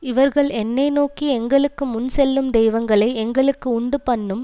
இவர்கள் என்னை நோக்கி எங்களுக்கு முன்செல்லும் தெய்வங்களை எங்களுக்கு உண்டு பண்ணும்